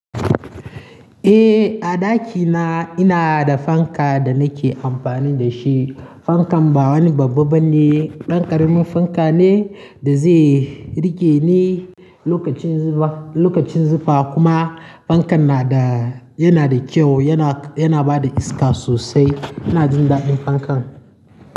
Eh, a ɗakina ina da fanka da nake amfani da shi. Fankan ba wani babban ba ne, ɗan ƙaramin fanka ne da zai rike ni lokacin zufa, lokacin zufa kuma fankan na da, yana da kyau, yana, yana ba da iska sosai. Ina jin daɗin fankan.